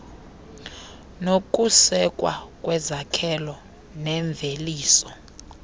nokusekwa kwezakhelo neemveliso